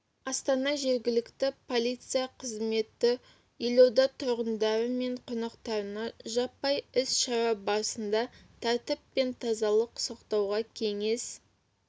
астана жергілікті полиция қызметі елорда тұрғындары мен қонақтарына жаппай іс-шара барысында тәртіп пен тазалық сақтауға кеңес